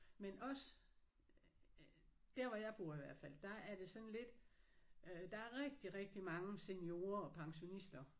Men også øh der hvor jeg bor i hvert fald der er det sådan lidt øh der er rigtig rigtig mange seniorer og pensionister